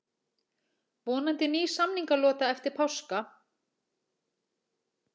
Vonandi ný samningalota eftir páska